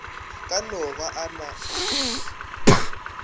ka no ba a na